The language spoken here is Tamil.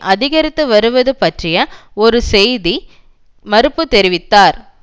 அதிகரித்து வருவது பற்றிய ஒரு செய்தி மறுப்பு தெரிவித்தார்